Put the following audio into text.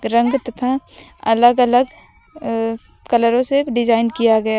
रंग तथा अलग अलग अ कलरों से डिजाइन किया गया --